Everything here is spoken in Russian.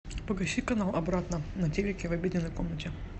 погаси канал обратно на телике в обеденной комнате